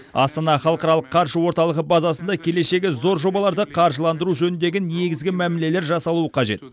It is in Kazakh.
астана халықаралық қаржы орталығы базасында келешегі зор жобаларды қаржыландыру жөніндегі негізгі мәмілелер жасалуы қажет